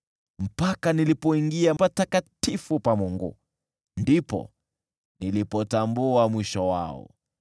Mpaka nilipoingia patakatifu pa Mungu, ndipo nilipotambua mwisho wao.